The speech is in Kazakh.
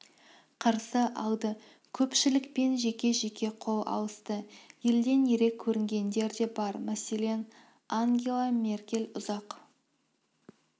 қарсы алды көпшілікпен жеке-жеке қол алысты елден ерек көрінгендер де бар мәселен ангела меркель ұзақ